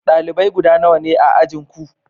dalibai guda nawa ne a ajin Ku?